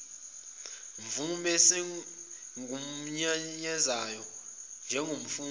mvume esimgunyazayo njengomfundi